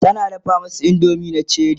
tana dafa masu indomie na Cherie